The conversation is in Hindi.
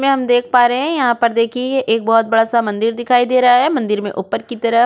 में हम देख पा रहै है यहाँ पर देखिए एक बहुत बड़ा सा मंदिर दिखाई दे रहा है मंदिर में ऊपर की तरफ़ --